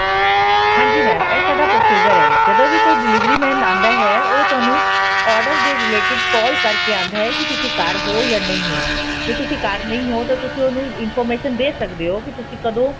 ਹਾਂਜੀ mam ਇਹ ਸਾਡਾ procedure ਹੈ ਜਦੋਂ ਵੀ ਕੋਈ delivery man ਆਦਾ ਹੈ ਉਹ ਤੁਹਾਨੂੰ order ਦੇ related call ਕਰਕੇ ਆਉਂਦਾ ਹੈ ਕੀ ਤੁਸੀਂ ਘਰ ਹੋ ਜਾਂ ਨਹੀਂ ਹੋ ਜੇ ਤੁਸੀਂ ਘਰ ਨਹੀਂ ਹੋ ਤਾਂ ਤੁਸੀਂ ਉਹਨੂੰ information ਦੇ ਸਕਦੇ ਹੋ ਕੀ ਤੁਸੀਂ ਕਦੋਂ